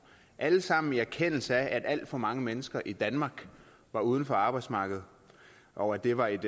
alt sammen i erkendelse af at alt for mange mennesker i danmark var uden for arbejdsmarkedet og at det var et